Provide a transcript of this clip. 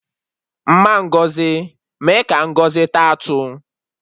Mma Ngozi mee ka Ngozi taa atụ